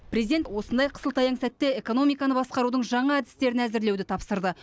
президент осындай қысылтаяң сәтте экономиканы басқарудың жаңа әдістерін әзірлеуді тапсырды